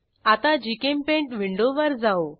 आता जीचेम्पेंट विंडोवर जाऊ